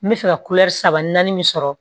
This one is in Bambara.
N bɛ fɛ ka saba naani min sɔrɔ